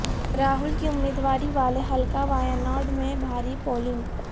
راہول کی امیدواری والے حلقہ وایاناڈ میں بھاری پولنگ